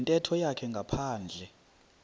yintetho yakhe ngaphandle